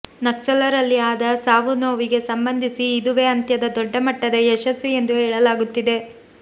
ನಕ್ಸಲರಲ್ಲಿ ಆದ ಸಾವು ನೋವಿಗೆ ಸಂಬಂಧಿಸಿ ಇದುವೇ ಅತ್ಯಂತ ದೊಡ್ಡ ಮಟ್ಟದ ಯಶಸ್ಸು ಎಂದು ಹೇಳಲಾಗುತ್ತಿದೆ